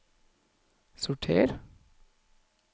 sorter